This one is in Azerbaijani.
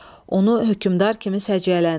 Onu hökmdar kimi səciyyələndirin.